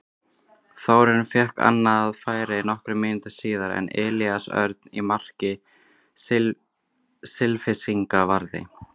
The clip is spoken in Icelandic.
Þórarinn fékk annað færi nokkrum mínútum síðar en Elías Örn í marki Selfyssinga varði.